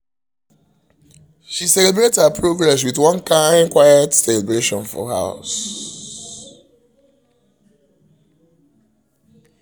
she celebrate um her progress with um one kind quiet celebration for house